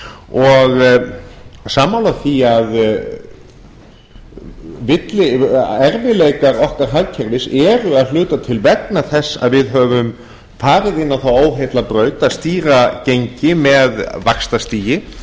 og sammála því að erfiðleikar okkar hagkerfis eru að hluta til vegna þess að við höfum farið inn á þá óheillabraut að stýra gengi með vaxtastigi